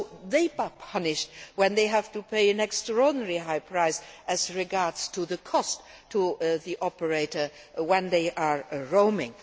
So they are punished when they have to pay an extraordinarily high price with regard to the cost to the operator when they are roaming.